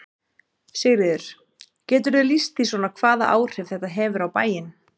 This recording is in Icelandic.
Sigríður: Geturðu lýst því svona hvaða áhrif þetta hefur á bæinn?